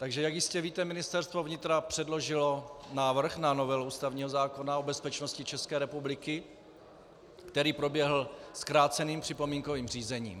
Takže jak jistě víte, Ministerstvo vnitra předložilo návrh na novelu ústavního zákona o bezpečnosti České republiky, který proběhl zkráceným připomínkovým řízením.